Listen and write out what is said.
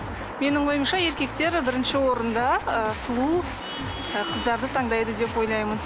менің ойымша еркектер бірінші орында ыыы сұлу ы қыздарды таңдайды деп ойлаймын